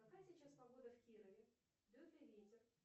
какая сейчас погода в кирове дует ли ветер